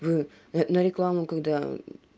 вы на на рекламу когда